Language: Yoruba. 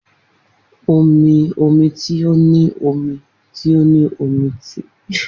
Omi omi ti o ni omi ti o ni omi ti